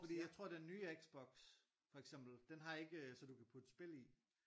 Fordi jeg tror den nye Xbox for eksempel den har ikke øh så du kan putte spil i